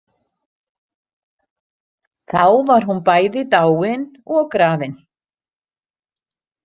Þá var hún bæði dáin og grafin.